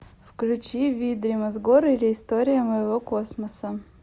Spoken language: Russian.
включи видримасгор или история моего космоса